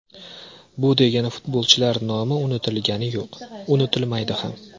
Bu degani futbolchilar nomi unutilgani yo‘q, unutilmaydi ham.